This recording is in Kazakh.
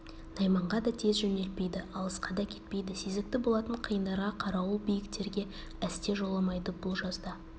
найманға да тез жөнелтпейді алысқа да әкетпейді сезікті болатын қиындарға қарауыл биіктерге әсте жоламайды бұл жазда